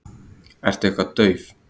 Ertu eitthvað dauf?